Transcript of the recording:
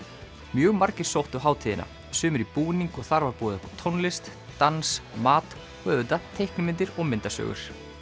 mjög margir sóttu hátíðina sumir í búning og þar var boðið upp á tónlist dans mat og auðvitað teiknimyndir og myndasögur